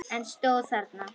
En stóð þarna.